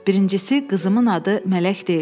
Birincisi, qızımın adı mələk deyil.